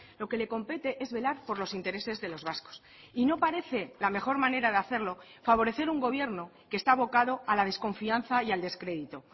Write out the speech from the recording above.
lo que le compete es velar por los intereses de los vascos y no parece la mejor manera de hacerlo favorecer un gobierno que esta abocado a la desconfianza y al descrédito